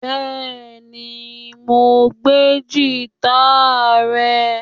Bẹẹni, Mo gbe gita rẹ